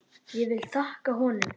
Ég vil þakka honum.